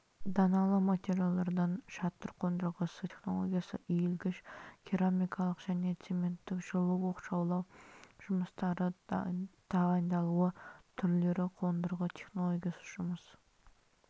даналы материалдардан шатыр қондырғысы технологиясы иілгіш керамикалық және цементтік жылу оқшаулау жұмыстары тағайындалуы түрлері қондырғы технологиясы жұмыс